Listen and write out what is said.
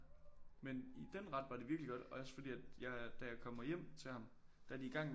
Men i den ret var det virkelig godt også fordi at jeg da jeg kommer hjem til ham der er de i gang med